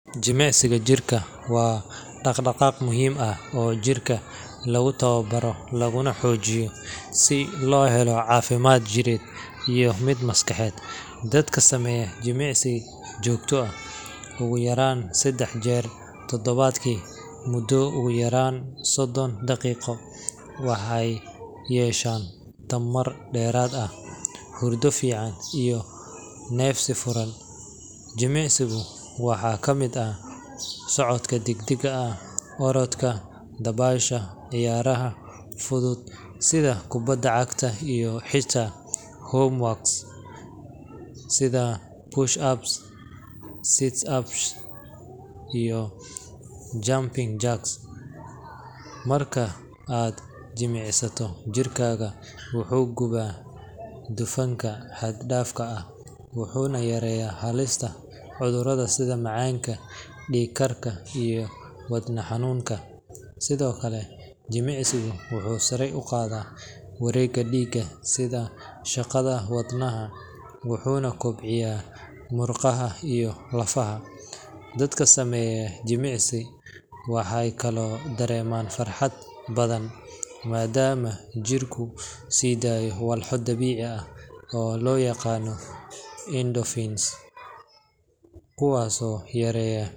Jimicsiga jirka waa dhaqdhaqaaq muhiim ah oo jirka lagu tababaro laguna xoojiyo si loo helo caafimaad jireed iyo mid maskaxeed. Dadka sameeya jimicsi joogto ah, ugu yaraan saddex jeer toddobaadkii muddo ugu yaraan soddon daqiiqo, waxay yeeshaan tamar dheeraad ah, hurdo fiican, iyo neefsi furan. Jimicsiga waxaa ka mid ah socodka degdegga ah, orodka, dabaasha, ciyaaraha fudud sida kubbadda cagta, iyo xitaa home workouts sida push-ups, sit-ups iyo jumping jacks. Marka aad jimicsato, jirkaaga wuxuu gubaa dufanka xad-dhaafka ah, wuxuu yareeyaa halista cudurrada sida macaanka, dhiig-karka, iyo wadne xanuunka. Sidoo kale, jimicsigu wuxuu sare u qaadaa wareegga dhiigga iyo shaqada wadnaha, wuxuuna kobciyaa murqaha iyo lafaha. Dadka sameeya jimicsi waxay kaloo dareemaan farxad badan, maadaama jirku sii daayo walxo dabiici ah oo loo yaqaan endorphins kuwaasoo yareeya.